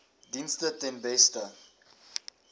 dienste ten beste